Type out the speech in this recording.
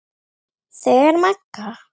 Þegar Magga